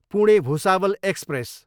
Pune, Bhusawal express